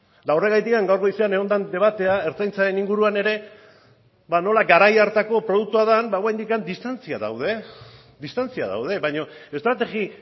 eta horregatik gaur goizen egon den debatea ertzaintzaren inguruan ere ba nola garai hartako produktua den ba oraindik distantziak daude baina estrategia